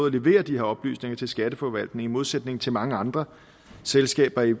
at levere de her oplysninger til skatteforvaltningen i modsætning til mange andre selskaber i